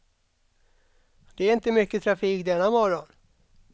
Det är inte mycket trafik denna morgon.